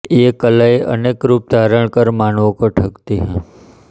ये कलायें अनेक रूप धारण कर मानवों को ठगती हैं